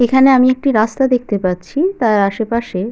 এখানে আমি একটি রাস্তা দেখতে পাচ্ছিতার আশেপাশে --